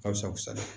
Ka fisa